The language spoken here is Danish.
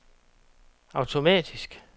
automatisk